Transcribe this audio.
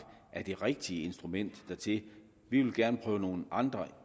er det rigtige instrument dertil vi vil gerne prøve nogle andre